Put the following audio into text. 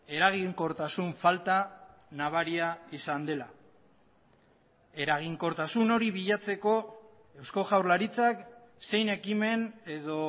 eraginkortasun falta nabaria izan dela eraginkortasun hori bilatzeko eusko jaurlaritzak zein ekimen edo